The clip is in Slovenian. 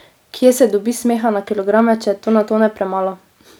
Kje se dobi smeha na kilograme, če je na tone premalo?